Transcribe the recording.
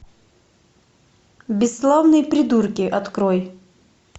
бесславные придурки открой